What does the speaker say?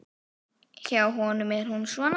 Hjá honum er hún svona